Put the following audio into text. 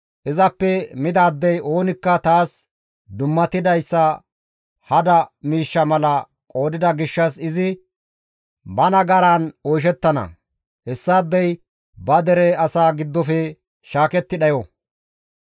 Izappe midaadey oonikka taas dummatidayssa hada miishsha mala qoodida gishshas izi ba nagaran oyshettana; hessaadey ba dere asaa giddofe shaaketti dhayo.